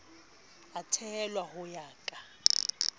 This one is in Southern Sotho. a theolwa ho ya ka